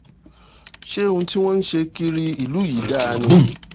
ṣe ohun tí wọ́n ń ṣe kiri ìlú yìí dáa ni